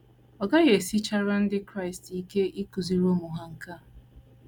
Ọ gaghị esichara Ndị Kraịst ike ịkụziri ụmụ ha nke a.